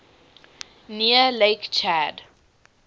near lake chad